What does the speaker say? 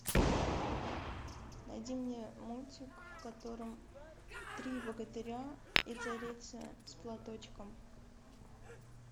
найди мне мультик в котором три богатыря и царица с платочком